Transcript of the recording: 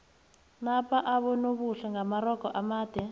napa abonobuhle ngamarogo amade